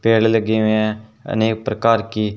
तेल लगी हुई है अनेक प्रकार की--